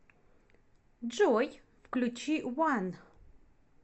джой включи уан